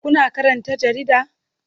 Kuna karanta jarida?